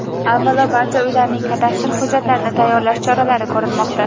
Avvalo, barcha uylarning kadastr hujjatlarini tayyorlash choralari ko‘rilmoqda.